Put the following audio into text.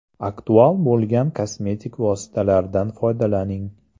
Aktual bo‘lgan kosmetik vositalardan foydalaning.